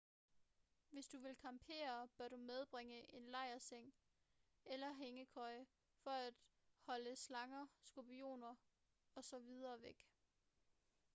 hvis du vil campere bør du medbringe en lejrseng eller hængekøje for at holde slanger skorpioner og så videre væk